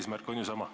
Eesmärk on ju sama.